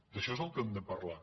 d’això és del que hem de parlar